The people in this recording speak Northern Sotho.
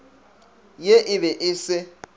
ye e be e se